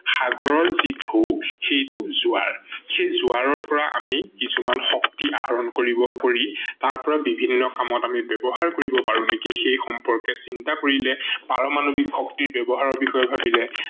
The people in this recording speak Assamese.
সাগৰৰ যি ঢৌ সেইটো জোৱাৰ। সেই জোৱাৰৰ পৰা আমি কিছুমান শক্তি আহৰন কৰিব কৰি তাৰ পৰা বিভিন্ন কামত আমি ব্যৱহাৰ কৰিব পাৰো নেকি সেই সম্পৰ্কে চিন্তা কৰিলে, পাৰমানৱিক শক্তিৰ ব্যৱহাৰৰ বিষয়ে ভাবিলে